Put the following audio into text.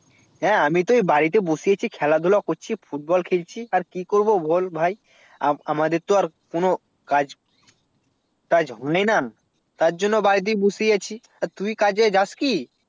হ্যাঁ আমি তো এই বাড়িতে বসে করছি খেলা ধুলা করছি football খেলছি আর কি করবো বল আর আমাদের তো কোনো কাজ তাজ নেই না তার জন্য বাড়িতে বসে আছি তুই কাজ এ যাসনি